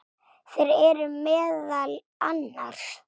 Þeir eru meðal annars